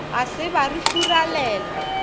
ga se ba re furalela